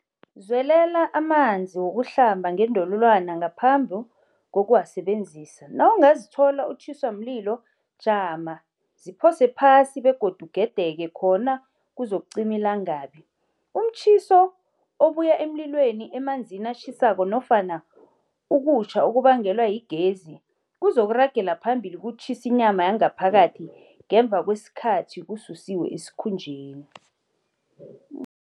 Zwelela amanzi wokuhlamba ngendololwana ngaphambi kokuwasebenzisa. Nawungazithola utjhiswa mlilo, jama, ziphose phasi begodu ugedeke khona kuzakuqima ilangabi. Umtjhiso obuya emlilweni, emanzini atjhisako nofana ukutjha okubangelwe yigezi kuzokuragela phambili kutjhise inyama yangaphakathi ngemva kwesikathi kususiwe esikhumbeni.